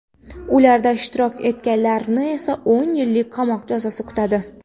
Ularda ishtirok etganlarni esa o‘n yillik qamoq jazosi kutadi.